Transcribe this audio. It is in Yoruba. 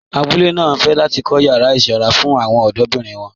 Àbúlé náà fẹ́ láti kọ̀ yàrà isanra fún awọn ọdọ̀birin wọn